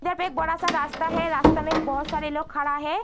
यहाँ पर एक बड़ा-सा रास्ता है। रास्ता में बहोत सारे लोग खड़ा हैं।